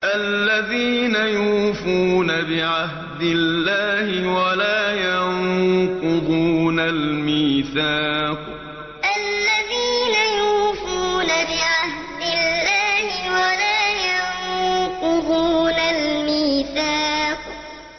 الَّذِينَ يُوفُونَ بِعَهْدِ اللَّهِ وَلَا يَنقُضُونَ الْمِيثَاقَ الَّذِينَ يُوفُونَ بِعَهْدِ اللَّهِ وَلَا يَنقُضُونَ الْمِيثَاقَ